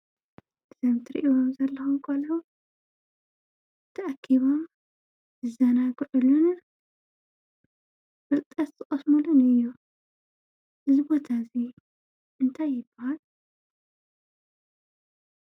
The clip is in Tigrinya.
እዞም ትሪእዎም ዘለኹም ቆልዑ ተኣኪቦም ዝዘናግዕሉን ፍልጠት ዝቐስሙሉን እዩ። እዚ ቦታ እዚ እንታይ ይበሃል?